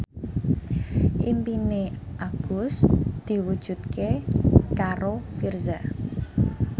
impine Agus diwujudke karo Virzha